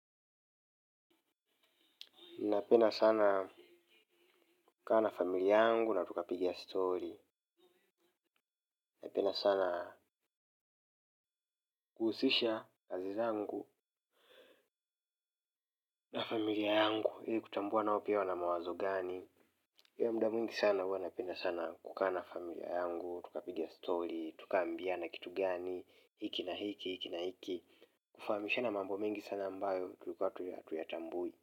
Napenda sana kukaa na familia yangu na tukapigia story. Napenda sana kuhusisha kazi zangu na familia yangu. Ili kutambua nao pia wana mawazo gani. Ila muda mwingi sana huwa napenda sana kukaa na familia yangu. Tukapiga story tukaambiana kitu gani hiki na hiki. Hiki na hiki. Kufahamishana mambo mengi sana ambayo tulikuwa tuya tuya tambui.